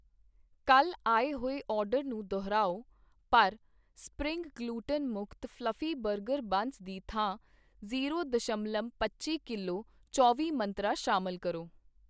ਕੱਲ੍ਹ ਆਏ ਹੋਏ ਆਰਡਰ ਨੂੰ ਦੁਹਰਾਓ ਪਰ ਸਪਰਿੰਗ ਗਲੁਟਨ ਮੁਕਤ ਫ਼ਲਫੀ ਬਰਗਰ ਬੰਸ ਦੀ ਥਾਂ ਜੀਰੋ ਦਸ਼ਮਲਵ ਪੱਚੀ ਕਿਲੋ ਚੌਂਵੀ ਮੰਤਰਾਂ ਸ਼ਾਮਲ ਕਰੋ।